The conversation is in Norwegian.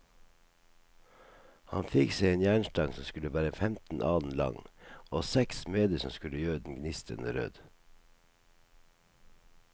Han fikk seg en jernstang som skulle være femten alen lang, og seks smeder som skulle gjøre den gnistrende rød.